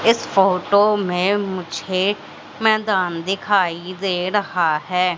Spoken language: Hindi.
इस फोटो में मुझे मैदान दिखाई दे रहा हैं।